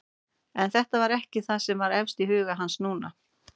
En þetta var ekki það sem var efst í huga hans núna.